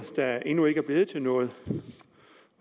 der endnu ikke er blevet til noget